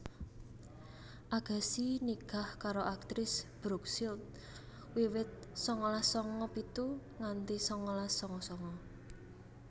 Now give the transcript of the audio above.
Agassi nikah karo aktris Brooke Shields wiwit sangalas sanga pitu nganti sangalas sanga sanga